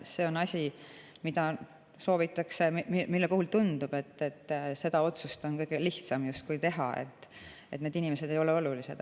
See on asi, mille puhul tundub, et sellist otsust on justkui kõige lihtsam teha, et need inimesed ei ole olulised.